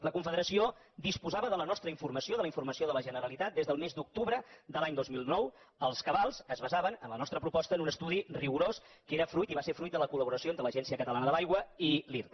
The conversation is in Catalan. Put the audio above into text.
la confederació disposava de la nostra informació de la informació de la generalitat des del mes d’octubre de l’any dos mil nou els cabals es basaven en la nostra proposta en un estudi rigorós que era fruit i en va ser fruit de la coll’aigua i l’irta